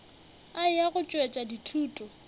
a eya go tšwetša dithuto